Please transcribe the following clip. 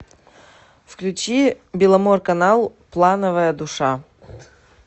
включи беломорканал плановая душа